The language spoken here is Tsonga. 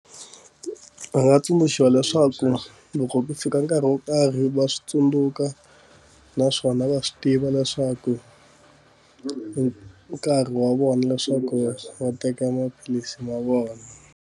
Va nga tsundzuxiwa leswaku loko ku fika nkarhi wo karhi va swi tsundzuka naswona va swi tiva leswaku hi nkarhi wa vona leswaku va teka maphilisi ma vona.